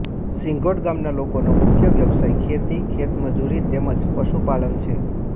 સિંધોટ ગામના લોકોનો મુખ્ય વ્યવસાય ખેતી ખેતમજૂરી તેમ જ પશુપાલન છે